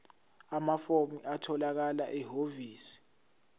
amafomu atholakala ehhovisi